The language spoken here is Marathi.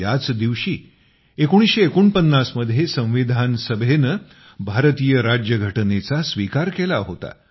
याच दिवशी 1949 मध्ये संविधान सभेने भारतीय राज्यघटनेचा स्वीकार केला होता